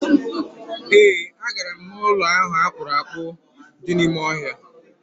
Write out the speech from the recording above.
E, a gara m n'ụlọ akpụrụakpụ ahụ dị n'ime ọhịa.